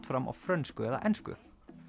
fram á frönsku eða ensku